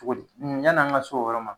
Togo di yanni an ga s'o o yɔrɔ ma